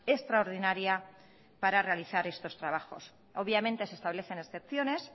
extraordinaria para realizar estos trabajos obviamente se establecen excepciones